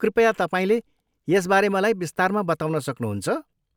कृपया, तपाईँले यसबारे मलाई विस्तारमा बताउन सक्नुहुन्छ?